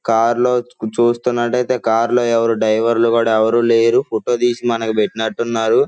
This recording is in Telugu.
కారు లో చూస్తున్నట్లయితే కార్లో ఎవరు డ్రైవర్లు కూడా ఎవరూ లేరు ఫోటో తీసి మనకు పెట్టినట్టున్నారు.